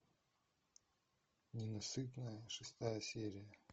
ненасытная шестая серия